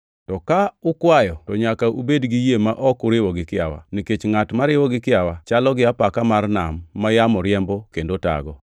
To ka ukwayo to nyaka ubed gi yie ma ok uriwo gi kiawa, nikech ngʼat mariwo gi kiawa chalo gi apaka mar nam ma yamo riembo kendo tago.